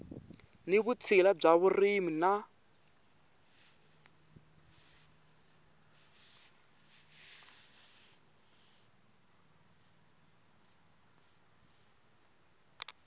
ni vutshila bya vurimi na